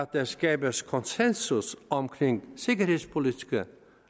der skabes konsensus omkring sikkerhedspolitiske